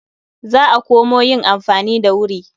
Za a komo yin amfani da wuri.